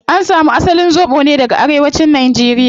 An samu asalin zobo ne daga arewacin nigeria